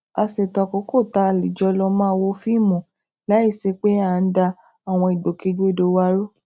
a ṣètò àkókò tá a lè jọ máa lọ wo fíìmù láìsí pé à ń da àwọn ìgbòkègbodò wa rú